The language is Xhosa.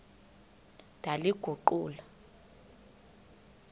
ndaliguqula